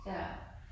Ja